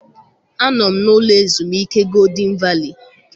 Anọ m n'ụlọ ezumike Golden Valley.